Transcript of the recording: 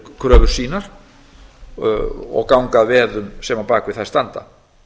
kröfur sínar og ganga að veðum sem á bak við þær standa